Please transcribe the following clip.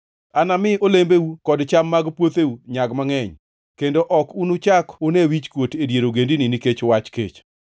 Anami olembeu kod cham mag puotheu nyag mangʼeny, kendo ok unuchak une wichkuot e dier ogendini nikech wach kech.